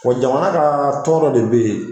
Ka sɔrɔ jamana ka tɔn dɔ de bɛ yen.